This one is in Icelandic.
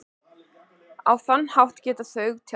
Á þann hátt geta þau tjáð sig.